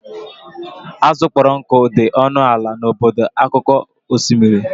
Azụ kpọrọ nkụ dị ọnụ ala n'obodo akụkụ osimiri.